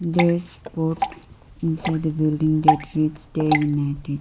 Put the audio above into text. there is board inside the building that reads day united.